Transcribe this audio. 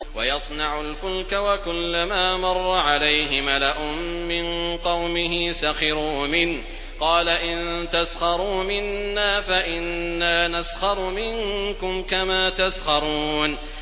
وَيَصْنَعُ الْفُلْكَ وَكُلَّمَا مَرَّ عَلَيْهِ مَلَأٌ مِّن قَوْمِهِ سَخِرُوا مِنْهُ ۚ قَالَ إِن تَسْخَرُوا مِنَّا فَإِنَّا نَسْخَرُ مِنكُمْ كَمَا تَسْخَرُونَ